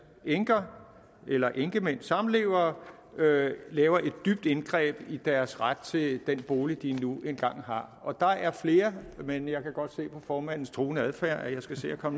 enker eller enkemænd samlevere laver et dybt indgreb i deres ret til den bolig de nu engang har der er flere men jeg kan godt se på formandens truende adfærd at jeg skal se at